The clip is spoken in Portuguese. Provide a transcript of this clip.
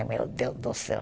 Meu Deus do céu.